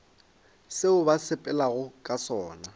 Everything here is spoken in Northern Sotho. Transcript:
seo ba sepelago ka sona